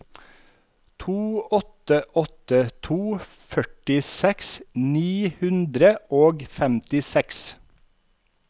to åtte åtte to førtiseks ni hundre og femtiseks